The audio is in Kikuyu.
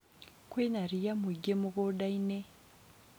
kwĩna rĩya mũingĩ mũgũnda-inĩ